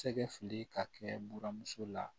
Sɛgɛ fili ka kɛ buramuso la